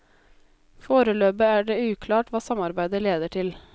Foreløpig er det uklart hva samarbeidet leder til.